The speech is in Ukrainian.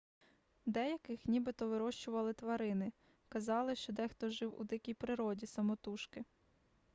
деяких нібито вирощували тварини казали що дехто жив у дикій природі самотужки